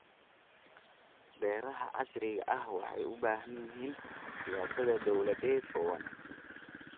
Beeraha casriga ahi waxay u baahan yihiin siyaasad dawladeed oo wanaagsan.